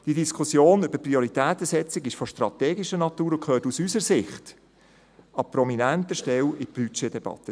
Die Diskussion über die Prioritätensetzung ist strategischer Natur und gehört aus unserer Sicht an prominenter Stelle in die Budgetdebatte.